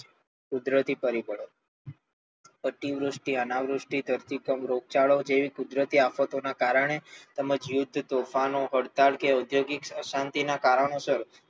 કુદરતી પરિબળો અતિવૃષ્ટિ અનાવૃષ્ટિ ધરતીકંપ રોગચાળો જેવી કુદરતી આફતોના કારણે તેમજ યુદ્ધ તોફાનો હડતાલ કે ઔદ્યોગિક અશાંતિના કારણોસર